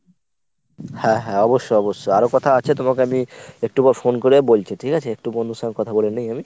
হ্যাঁ হ্যাঁ অবশ্যই অবশ্যই আরো কথা আছে তোমাকে আমি একটু পর phone করে বলছি ঠিকাছে একটু বন্ধুর সঙ্গে কথা বলে নিই আমি?